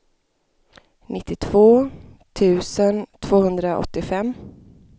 nittiotvå tusen tvåhundraåttiofem